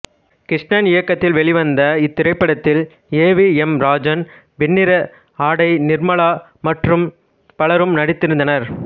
கிருஷ்ணன் இயக்கத்தில் வெளிவந்த இத்திரைப்படத்தில் A V M Rajan Vennira Aadai Nirmala மற்றும் பலரும் நடித்திருந்தனர்